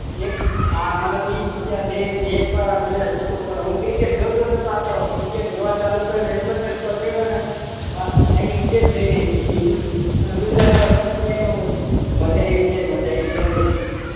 એક આ મને તો ઈ વિચાર કે એક વાર આ ગુજરાત જીતવું પડે હું કીધું કે આ તો ક્રિકેટ જોવા નું ચાલુ કર્યું તો સમજી લો ને કે આખી સીઝન જોઈ નાખી અને આ ગુજરાત જીતી જાય ને તો મજા આઈ જાય મજા આઈ જાય